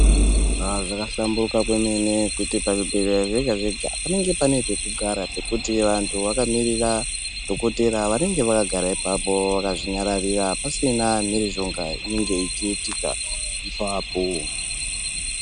Haa zvakahlamburuka kwemene kuti pazvibhedhleya zvega-zvega panenge pane pekugara pekuti vantu vakamirira dhokotera vanenge vakagara ipapo vakazvinyararira pasina mhirizhonga inenge ichiitika ipapo.